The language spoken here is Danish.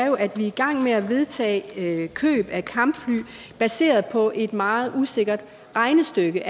jo er i gang med at vedtage køb af kampfly baseret på et meget usikkert regnestykke